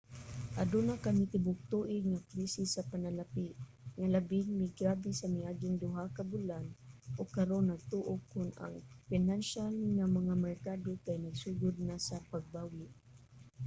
aduna kami tibuok-tuig nga krisis sa panalapi nga labing migrabe sa miaging duha ka bulan ug karon nagtuo kong ang pinansyal nga mga merkado kay nagsugod na sa pagbawi.